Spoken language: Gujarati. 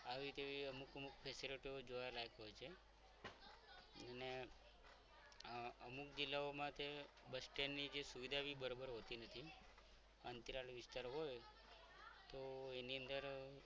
આવે તેવી અમુક અમુક facilities જોવાલાયક હોય છે અને આ અમુક જિલ્લાઓમાં બસ સ્ટેન્ડ ની સુવિધા પણ બરોબર હોતી નથી અંતરાલ વિસ્તાર હોય તો એની અંદર